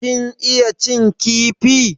Kin iya cin kifi?